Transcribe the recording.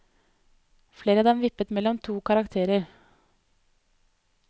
Flere av dem vippet mellom to karakterer.